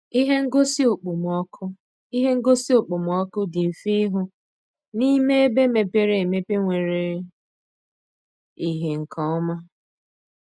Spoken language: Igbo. Ihe ngosi okpomọkụ Ihe ngosi okpomọkụ dị mfe ịhụ n’ime ebe mepere emepe nwere ìhè nke ọma.